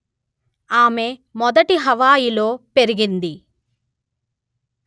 ఆమె మొదటి హవాయిలో పెరిగింది